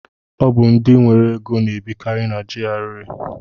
Ọ bụ ndị nwere ego na-ebikari na GRA.